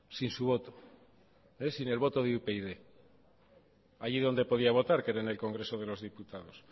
sin su voto sin el voto de upyd allí donde podía votar que era en el congreso de los diputados